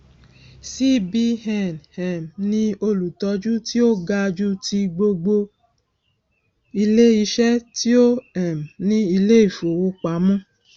cbn um ní olùtọjú tí ó ga jù ti gbogbo iléiṣẹ tí ó um ní iléìfowọpamọ